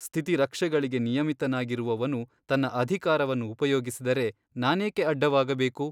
ಸ್ಥಿತಿರಕ್ಷೆಗಳಿಗೆ ನಿಯಮಿತನಾಗಿರುವವನು ತನ್ನ ಅಧಿಕಾರವನ್ನು ಉಪಯೋಗಿಸಿದರೆ ನಾನೇಕೆ ಅಡ್ಡವಾಗಬೇಕು?